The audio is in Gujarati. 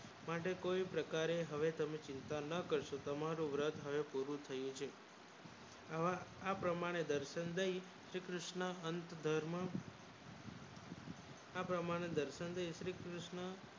માટે કોઈ પ્રકારે હવે તમે ચિંતા ન કરશો તમારું વર્ત હવે પૂરું થયું છે આ પ્રમાણે દર્શન દય શ્રીકૃષ્ણ અંત ધર્મ આ પ્રમાણે દર્શન દય કૃષ્ણ